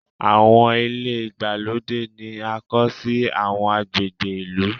Àwọn ilé ìgbàlódé ni a kọ́ sí àwọn agbègbè ìlú.